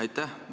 Aitäh!